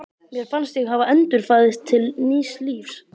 Mér fannst ég hafa endurfæðst til nýs lífs.